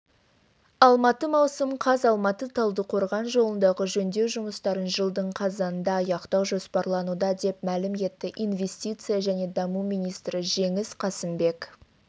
алматы маусым қаз алматы талдықорған жолындағы жөндеу жұмыстарын жылдың қазанында аяқтау жоспарлануда деп мәлім етті инвестиция және даму министрі жеңіс қасымбек